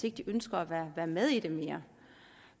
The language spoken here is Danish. ikke ønsker at være med i det mere